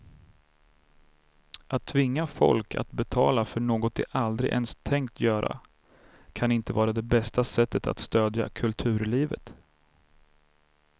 Att tvinga folk att betala för något de aldrig ens tänkt göra kan inte vara det bästa sättet att stödja kulturlivet.